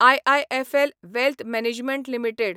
IIFL wealth management limited